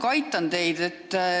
Ma natuke aitan teid.